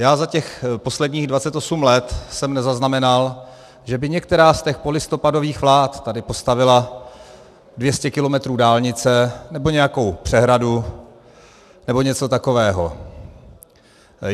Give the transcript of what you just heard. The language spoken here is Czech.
Já za těch posledních 28 let jsem nezaznamenal, že by některá z těch polistopadových vlád tady postavila 200 kilometrů dálnice nebo nějakou přehradu nebo něco takového.